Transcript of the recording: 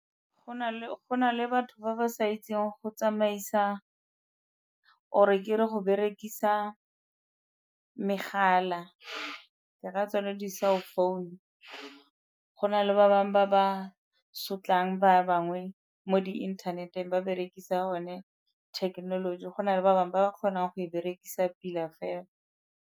Go na le batho ba ba sa itseng go tsamaisa or-e ke re go berekisa megala ke ra tsone di-cell founu, go na le ba bangwe ba ba sotlang ba bangwe mo di inthaneteng ba berekisa one thekenoloji go na le ba bangwe ba ba kgonang go e berekisa pila fela.